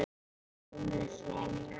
Hún er svo mjúk.